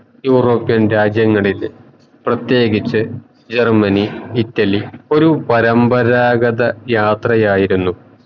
European രാജ്യങ്ങളിൽ പ്രതേകിച് Germany Italy ഒരു പരമ്പാരാഗത യാത്രയായിരുന്നു